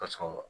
Ka sɔrɔ